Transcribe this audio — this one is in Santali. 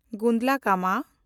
ᱜᱩᱱᱰᱞᱟᱠᱢᱢᱟ